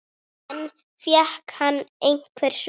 En fékk hann einhver svör?